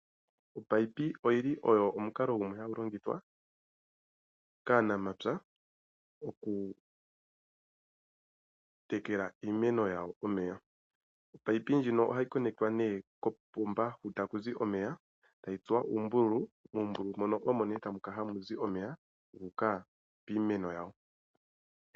Opayipi oyili ogo omukalo gumwe hagu longithwa kaanamapya oku tekela iimeno yawo omeya. Opayipi ndjino ohayi konetwa ne kopomba hu takuzi omeya etayi tsuwa uumbululu, uumbululu mono omone takala hamuzi omeya gu uka piimeno yawo.